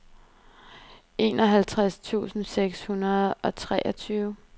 enoghalvtreds tusind seks hundrede og treogtyve